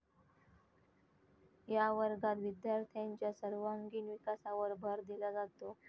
या वर्गात विद्यार्थ्यांच्या सर्वांगिण विकासावर भर दिला जातो.